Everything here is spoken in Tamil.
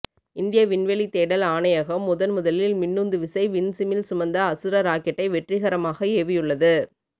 இந்திய விண்வெளித் தேடல் ஆணையகம் முதன்முதல் மின்னுந்துவிசை விண்சிமிழ் சுமந்த அசுர ராக்கெட்டை வெற்றிகரமாக ஏவியுள்ளது